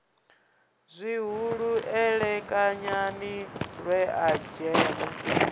zwihulu elekanyani lwe a dzheṅwa